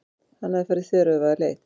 Hann hafði farið þveröfuga leið.